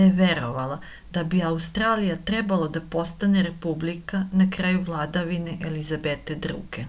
da je verovala da bi australija trebalo da postane republika na kraju vladavine elizabete ii